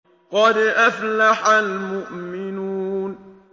قَدْ أَفْلَحَ الْمُؤْمِنُونَ